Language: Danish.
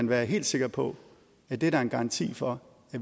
være helt sikker på at det er der en garanti for